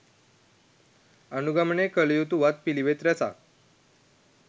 අනුගමනය කළයුතු වත් පිළිවෙත් රැසක්